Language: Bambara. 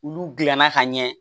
Olu dilanna ka ɲɛ